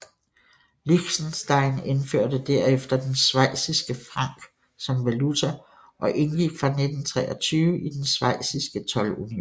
Liechtenstein indførte derefter den schweiziske franc som valuta og indgik fra 1923 i den schweiziske toldunion